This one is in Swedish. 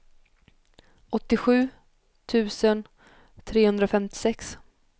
åttiosju tusen trehundrafemtiosex